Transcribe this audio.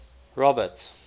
robert